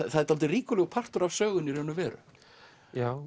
er dálítið ríkulegur partur af sögunni í raun og veru já